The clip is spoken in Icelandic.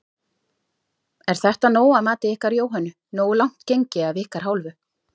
Er þetta nóg að mati ykkar Jóhönnu, nógu langt gengið af ykkar hálfu?